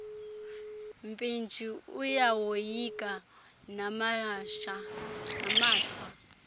mpintshi uyawoyika namashwa